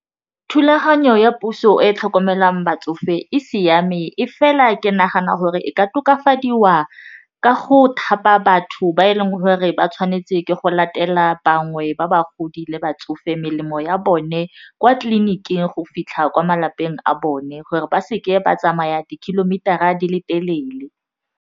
Thulaganyo ya puso e tlhokomelang batsofe e siame e fela ke nagana gore e ka tokafadiwa ka go thapa batho ba e leng gore ba tshwanetse ke go latela bangwe ba bagodi le batsofe melemo ya bone kwa tleliniking go fitlha kwa malapeng a bone gore ba se ke ba tsamaya di kilometer a di le telele.